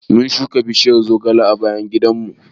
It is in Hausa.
Mun shuka bishiyar zogale a bayan gidanmu.